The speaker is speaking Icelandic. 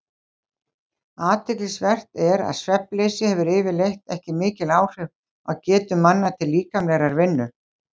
Athyglisvert er að svefnleysi hefur yfirleitt ekki mikil áhrif á getu manna til líkamlegrar vinnu.